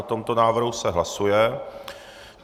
O tomto návrhu se hlasuje.